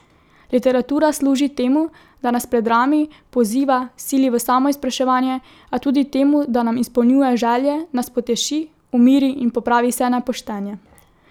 Literatura služi temu, da nas predrami, poziva, sili v samoizpraševanje, a tudi temu, da nam izpolnjuje želje, nas poteši, umiri in popravi vse nepoštenje.